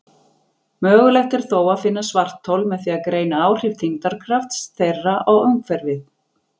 Mögulegt er þó að finna svarthol með því að greina áhrif þyngdarkrafts þeirra á umhverfið.